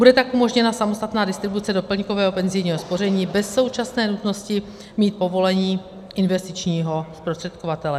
Bude tak umožněna samostatná distribuce doplňkového penzijního spoření bez současné nutností mít povolení investičního zprostředkovatele.